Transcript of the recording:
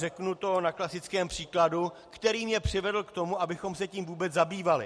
Uvedu to na klasickém příkladu, který mě přivedl k tomu, abychom se tím vůbec zabývali.